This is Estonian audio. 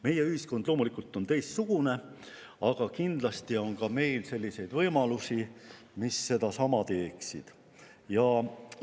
Meie ühiskond on loomulikult teistsugune, aga kindlasti on ka meil selliseid võimalusi, mis teeksid sedasama:.